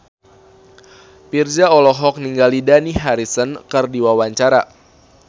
Virzha olohok ningali Dani Harrison keur diwawancara